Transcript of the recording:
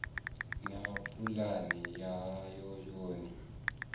na pulani yawo ya u